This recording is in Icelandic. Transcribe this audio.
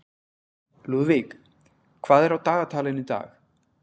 Lúðvíg, hvað er á dagatalinu í dag?